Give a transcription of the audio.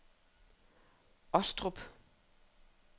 Ostrup